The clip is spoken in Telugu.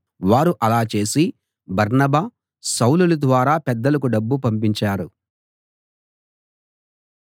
వారు అలా చేసి బర్నబా సౌలుల ద్వారా పెద్దలకు డబ్బు పంపించారు